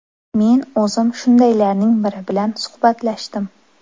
Men o‘zim shundaylarning biri bilan suhbatlashdim.